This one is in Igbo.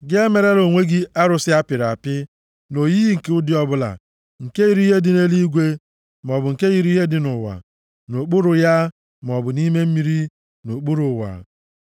Gị emerela onwe gị arụsị a pịrị apị, nʼoyiyi nke ụdị ọbụla nke yiri ihe dị nʼeluigwe maọbụ nke yiri ihe dị nʼụwa, nʼokpuru ya maọbụ nʼime mmiri, nʼokpuru ụwa.